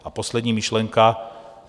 A poslední myšlenka.